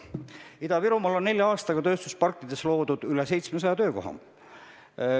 Ida-Virumaal on nelja aastaga tööstusparkides loodud üle 700 töökoha.